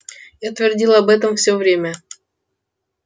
я твердил об этом все время